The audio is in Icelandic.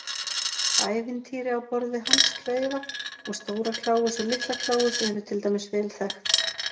Ævintýri á borð við Hans klaufa og Stóra-Kláus og Litla-Kláus eru til dæmis vel þekkt.